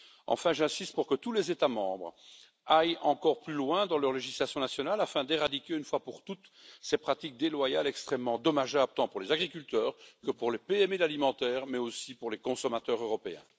Enfin, j'insiste pour que tous les États membres aillent encore plus loin dans leur législation nationale afin d'éradiquer, une fois pour toutes, ces pratiques déloyales extrêmement dommageables, tant pour les agriculteurs que pour les PME alimentaires, mais aussi pour les consommateurs européens.